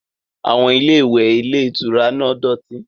Àwọn ilé-ìwẹ̀ ilé-ìtura náà dọ̀tí.